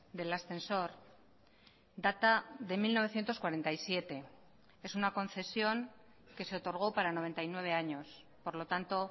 del ascensor data de mil novecientos cuarenta y siete es una concesión que se otorgó para noventa y nueve años por lo tanto